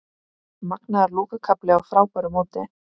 Magnaður lokakafli á frábæru móti